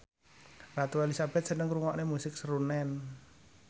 Ratu Elizabeth seneng ngrungokne musik srunen